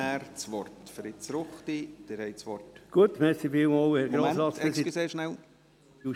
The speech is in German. Ich gebe zunächst noch Fritz Ruchti, ebenfalls Mitmotionär, das Wort.